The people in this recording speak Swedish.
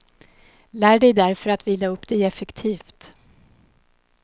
Lär dig därför att vila upp dig effektivt.